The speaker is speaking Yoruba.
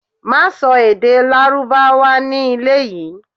Má sọ èdè Lárúbáwá ní ilé yìí.